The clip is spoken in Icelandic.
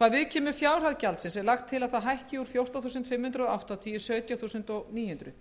hvað viðkemur fjárhæð gjaldsins er lagt til að það hækki úr fjórtán þúsund fimm hundruð áttatíu krónur í sautján þúsund níu